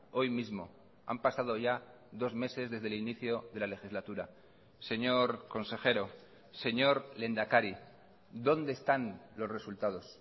hoy mismo han pasado ya dos meses desde el inicio de la legislatura señor consejero señor lehendakari dónde están los resultados